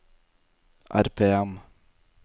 RPM